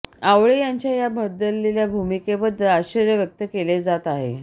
आवळे यांच्या या बदलेल्या भूमिकेबद्दल आश्चर्य व्यक्त केले जात आहे